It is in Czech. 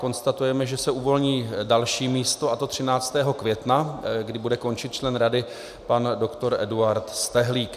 Konstatujeme, že se uvolní další místo, a to 13. května, kdy bude končit člen Rady pan dr. Eduard Stehlík.